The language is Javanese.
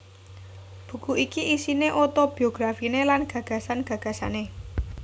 Buku iki isiné otobiografiné lan gagasan gagasané